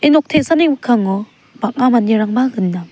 ia nok te·sani mikkango bang·a manderangba gnang.